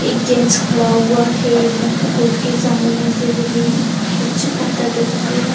एक जेंट्स खड़ा हुआ है इधर पूल के सामने से ग्रीन कुछ पत्थर दिखाई दे रहा है।